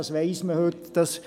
Das weiss man heute.